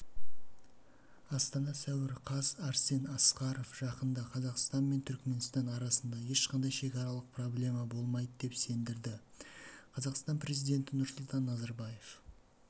астана сәуір қаз арсен асқаров жақында қазақстан мен түркменстан арасында ешқандай шекаралық проблема болмайды деп сендірді қазақстан президенті нұрсұлтан назарбаев